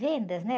Vendas, né?